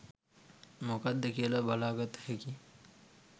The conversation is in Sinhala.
මොකක්ද කියලා බලගත්ත හැකි